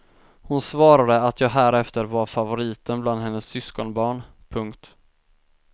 Hon svarade att jag härefter var favoriten bland hennes syskonbarn. punkt